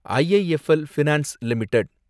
IIFL finance limited